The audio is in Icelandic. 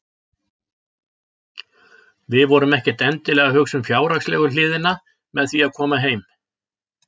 Við vorum ekkert endilega að hugsa um fjárhagslegu hliðina með því að koma heim.